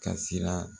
Ka siran